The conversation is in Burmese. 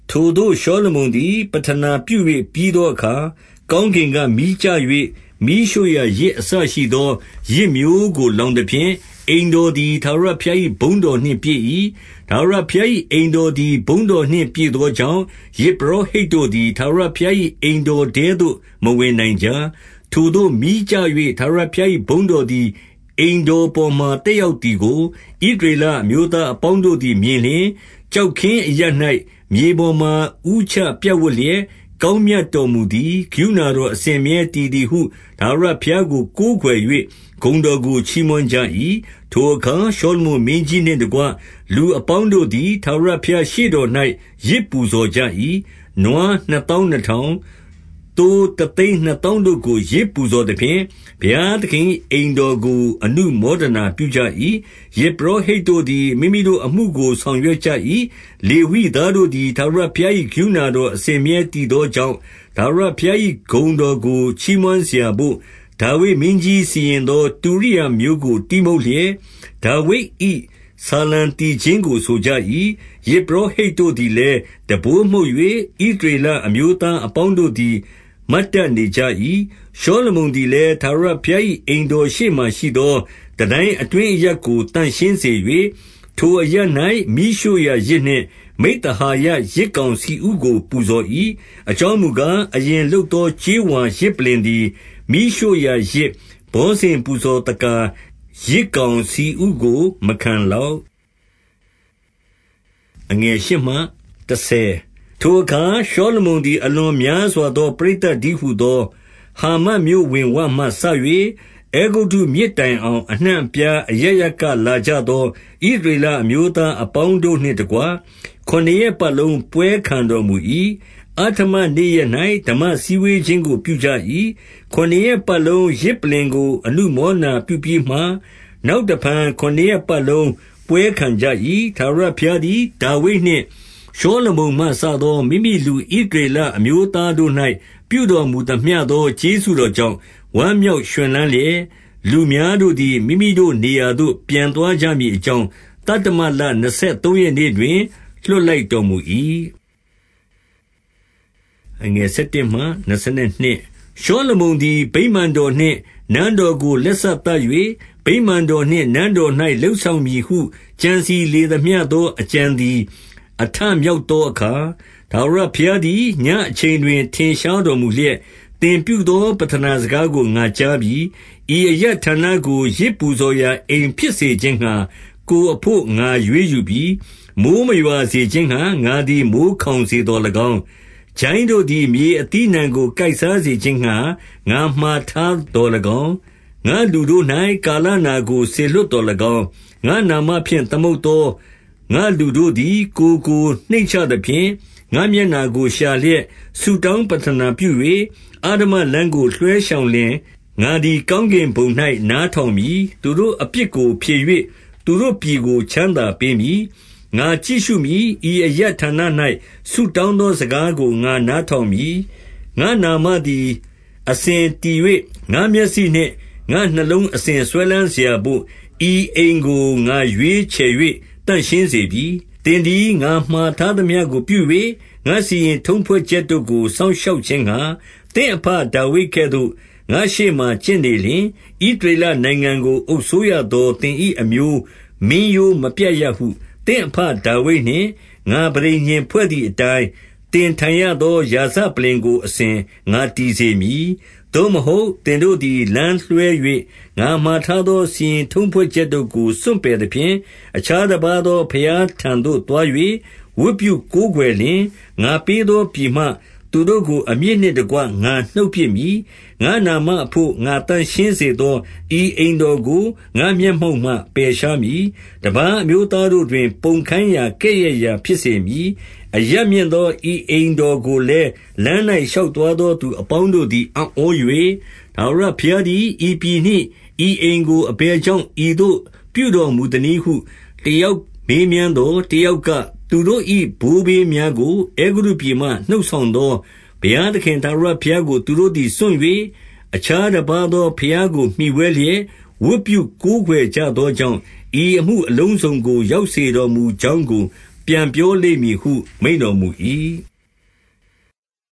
ထိုသို့ ရှောလမုန်သည်ပဌနာပြု၍ ပြီးသော အခါ၊ ကောင်းကင်က မီးကျ၍ မီးရှို့ရာယဇ်အစရှိသော ယဇ်မျိုးကို လောင်သဖြင့်၊ အိမ်တော်သည် ထာဝရဘုရား ၏ ဘုန်းတော်နှင့်ပြည့်၏။ 2 ထာဝရဘုရား၏အိမ်တော်သည် ဘုန်းတော်နှင့် ပြည့်သောကြောင့်၊ ယဇ်ပုရောဟိတ်တို့သည် ထာဝရ ဘုရား၏ အိမ်တော်ထဲသို့ မဝင်နိုင်ကြ။ 3 ထိုသို့မီးကျ၍ ထာဝရဘုရား၏ ဘုန်းတော်သည် အိမ်တော်ပေါ်မှာ သက်ရောက်သည်ကို ဣသရေလ အမျိုးသားအပေါင်းတို့သည် မြင်လျှင်၊ ကျောက်ခင်းအရပ် ၌ မြေပေါ်မှာ ဦးချပြပ်ဝပ်လျက် ကောင်းမြတ်တော်မူ သည်၊ ကရုဏာတော်အစဉ်အမြဲတည်သည်ဟု ထာဝရ ဘုရားကို ကိုးကွယ်၍ ဂုဏ်တော်ကို ချီးမွမ်းကြ၏။ 4 ထိုအခါ ရှောလမုန် မင်းကြီးနှင့်တကွ လူ အပေါင်းတို့သည် ထာဝရဘုရားရှေ့တော်၌ ယဇ်ပူဇော် ကြ၏။ 5 နွားနှစ်သောင်းနှစ်ထောင်၊ သိုးတသိန်း နှစ်သောင်းတို့ကို ယဇ်ပူဇော်သဖြင့်၊ ဘုရားသခင်၏ အိမ်တော်ကို အနုမောဒနာပြုကြ၏။ 6 ယဇ်ပုရောဟိတ်တို့သည် မိမိတို့အမှုကို ဆောင် ရွက်ကြ၏။ လေဝိသားတို့သည် ထာဝရဘုရား၏ ကရုဏာတော် အစဉ်အမြဲတည်သောကြောင့်၊ ထာဝရ ဘုရား၏ ဂုဏ်တော်ကိုချီးမွမ်းစရာဘို့ ဒါဝိဒ်မင်းကြီး စီရင်သော တုရိယာမျိုးကို တီးမှုတ်လျက် ဒါဝိဒ်၏ ဆာလံ သီချင်းကို ဆိုကြ၏။ ယဇ်ပုရောဟိတ်တို့သည်လည်း တံပိုး မှုတ်၍ ဣသရေလအမျိုးသားအပေါင်းတို့သည် မတ်တတ်နေကြ၏။ 7 ရှောလမုန်သည်လည်း၊ ထာဝရဘုရား၏ အိမ် တော်ရှေ့မှာရှိသော တန်တိုင်းအတွင်း အရပ်ကို သန့်ရှင်း စေ၍၊ ထိုအရပ်၌ မီးရှို့ရာယဇ်နှင့် မိဿဟာယယဇ် ကောင်ဆီဥကိုပူဇော်၏။ အကြောင်းမူကား၊ အရင် လုပ်သောကြေးဝါယဇ်ပလ္လင်သည် မီးရှို့ရာယဇ်၊ ဘောဇဉ် ပူဇော်သက္ကာ၊ ယဇ်ကောင်ဆီဥကို မခံလောက်။ 8 ထိုအခါရှောလမုန်သည် အလွန်များစွာသော ပရိသတ်တည်းဟူသော ဟာမတ်မြို့ဝင်ဝမှ စ၍အဲဂုတ္တု မြစ်တိုင်အောင် အနှံ့အပြား အရပ်ရပ်ကလာကြသော ဣသရေလအမျိုးသားအပေါင်းတို့နှင့်တကွ ခုနစ်ရက် ပတ်လုံး ပွဲခံတော်မူ၏။ 9 အဋ္ဌမ နေ့ရက်၌ ဓမ္မစည်းဝေးခြင်းကို ပြုကြ၏။ ခုနစ်ရက်ပတ်လုံး ယဇ်ပလ္လင်ကိုအနုမောဒနာပြုပြီးမှ၊ နောက်တဖန်ခုနစ်ရက်ပတ်လုံး ပွဲခံကြ၏။ 10 ထာဝရဘုရားသည် ဒါဝိဒ်နှင့် ရှောလမုန်မှ စသော မိမိလူဣသရေလအမျိုးသားတို့၌ ပြုတော်မူသမျှ သော ကျေးဇူးတော်ကြောင့် ဝမ်းမြောက်ရွှင်လန်းလျက်၊ လူများတို့သည် မိမိတို့နေရာသို့ ပြန်သွားကြမည် အကြောင်း၊ သတ္တမလ နှစ်ဆယ်သုံးရက်နေ့တွင် လွှတ် လိုက်တော်မူ၏။ 11 ရှောလမုန်သည် ဗိမာန်တော်နှင့် နန်းတော်ကို လက်စသတ်၍၊ ဗိမာန်တော်နှင့်နန်းတော်၌ လုပ်ဆောင် မည်ဟု ကြံစည်လေသမျှသော အကြံသည် အထမြောက် သောအခါ၊ 12 ထာဝရဘုရားသည် ညဉ့်အချိန်တွင် ထင်ရှား တော်မူလျက်၊ သင်ပြုသောပဌနာစကားကိုငါကြားပြီ။ ဤအရပ်ဌာနကို ယဇ်ပူဇော်ရာ အိမ်ဖြစ်စေခြင်းငှါ ကိုယ်အဘို့ငါရွေးယူပြီ။ 13 မိုဃ်းမရွာစေခြင်းငှါ ငါသည် မိုဃ်းခေါင်စေ သော်၎င်း၊ ကျိုင်းတို့သည် မြေအသီးအနှံကို ကိုက်စားစေ ခြင်းငှါ ငါမှာထားသော်၎င်း၊ ငါ့လူတို့ ကာလနာကိုစေလွှတ်သော်၎င်း၊ 14 ငါ့နာမဖြင့်သမုတ်သော ငါ့လူတို့သည် ကိုယ်ကို နှိမ့်ချသဖြင့်၊ ငါ့မျက်နှာကိုရှာလျက် ဆုတောင်းပဌနာပြု၍ အဓမ္မလမ်းကို လွှဲရှောင်လျှင် ငါသည် ကောင်းကင်ဘုံ၌ နားထောင်မည်။ သူတို့အပြစ်ကို ဖြေ၍ သူတို့ပြည်ကို ချမ်းသာပေးမည်။ 15 ငါကြည့်ရှုမည်။ ဤအရပ်ဌာန၌ ဆုတောင်း သော စကားကို ငါနားထောင်မည်။ 16 ငါ့နာမသည် အစဉ်တည်၍ ငါ့မျက်စိနှင့် ငါ့နှလုံးအစဉ် စွဲလမ်းစရာဘို့ ဤအိမ်ကို ငါရွေးချယ်၍ သန့်ရှင်းစေပြီ။ 17 သင်သည် ငါမှာထားသမျှကို ပြု၍ ငါစီရင် ထုံးဖွဲ့ချက်တို့ကို စောင့်ရှောက်ခြင်းငှါ သင့်အဘဒါဝိဒ် ကဲ့သို့ ငါ့ရှေ့မှာ ကျင့်နေလျှင်၊ 18 ဣသရေလနိုင်ငံကို အုပ်စိုးရသောသင်၏အမျိုး မင်းရိုးမပြတ်ရဟု သင့်အဘဒါဝိဒ်နှင့် ငါပဋိညာဉ်ဖွဲ့သည် အတိုင်း၊ သင်ထိုင်ရသော ရာဇပလ္လင်ကို အစဉ်ငါတည် စေမည်။ 19 သို့မဟုတ်သင်တို့သည် လမ်းလွဲ၍ ငါမှာထား သော စီရင်ထုံးဖွဲ့ချက်တို့ကို စွန့်ပယ်သဖြင့်၊ အခြား တပါးသော ဘုရားထံသို့သွား၍ ဝတ်ပြုကိုးကွယ်လျင်၊ 20 ငါပေးသောပြည်မှ သူတို့ကို အမြစ်နှင့်တကွ ငါနှုတ်ပစ်မည်။ ငါ့နာမအဘို့ ငါသန့်ရှင်းစေသော ဤအိမ် တော်ကို ငါ့မျက်မှောက်မှ ပယ်ရှားမည်။ တပါးအမျိုးသား တို့တွင် ပုံခိုင်းရာကဲ့ရဲ့ရာ ဖြစ်စေမည်။ 21 အရပ်မြင့်သော ဤအိမ်တော်ကိုလည်းလမ်း၌ ရှောက်သွားသော သူအပေါင်းတို့သည် အံ့ဩ၍၊ ထာဝရ ဘုရားသည် ဤပြည်နှင့် ဤအိမ်ကို အဘယ်ကြောင့် ဤသို့ပြုတော်မူသနည်းဟု တယောက်မေးမြန်းသော်၊ 22 တယောက်က၊ သူတို့၏ဘိုးဘေးများကို အဲဂုတ္တု ပြည်မှ နှုတ်ဆောင်သောဘုရားသခင်ထာဝရဘုရားကို သူတို့သည် စွန့်၍ အခြားတပါးသော ဘုရားကို မှီဝဲလျက် ဝတ်ပြုကိုးကွယ်ကြသောကြောင့် ဤအမှုအလုံးစုံကို ရောက်စေတော်မူကြောင်းကို ပြန်ပြောလိမ့်မည်ဟု မိန့်တော်မူ၏။